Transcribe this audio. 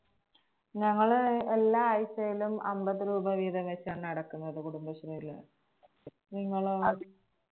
ഞങ്ങള് എല്ലാ ആഴ്ചയിലും അമ്പത് രൂപ വീതം വെച്ചാണ് അടക്കുന്നത് കുടുംബശ്രീയില്. നിങ്ങളോ?